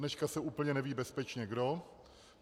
Dodneška se úplně neví bezpečně kdo.